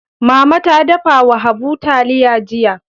Mama ta dafa wa Habu taliya jiya.